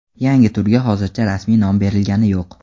Yangi turga hozircha rasmiy nom berilgani yo‘q.